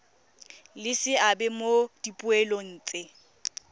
le seabe mo dipoelong tse